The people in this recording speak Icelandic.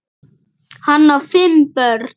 Hann á fimm börn.